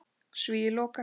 Svíi lokast.